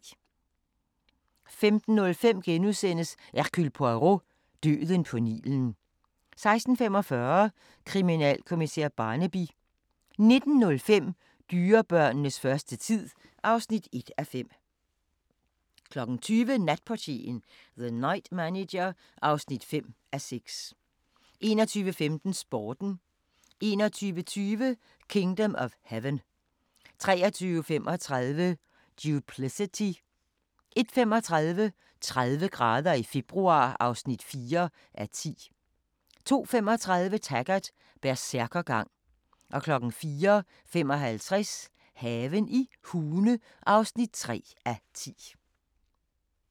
15:05: Hercule Poirot: Døden på Nilen * 16:45: Kriminalkommissær Barnaby 19:05: Dyrebørnenes første tid (1:5) 20:00: Natportieren - The Night Manager (5:6) 21:15: Sporten 21:20: Kingdom of Heaven 23:35: Duplicity 01:35: 30 grader i februar (4:10) 02:35: Taggart: Bersærkergang 04:55: Haven i Hune (3:10)